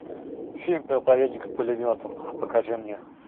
фильм проповедник с пулеметом покажи мне